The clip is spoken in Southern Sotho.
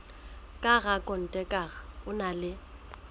ka rakonteraka o na le